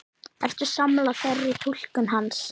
Ertu sammála þeirri túlkun hans?